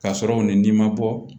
K'a sɔrɔw ni n'i ma bɔ